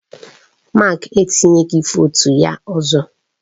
Mark etinyeghị votu ya ọzọ.